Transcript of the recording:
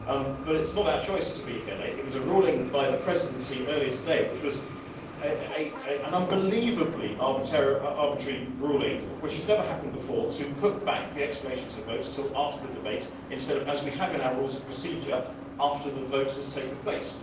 But it is not our choice to be here late it was a ruling by the Presidency earlier today which was an unbelievably arbitrary ruling which has never happened before to put back the explanations of vote until after the debate instead of, as we have in our Rules of Procedure, after the vote has taken place.